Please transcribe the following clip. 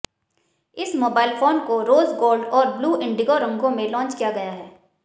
इस mobile phone को rose gold और ब्लू इंडिगो रंगों में लॉन्च किया गया है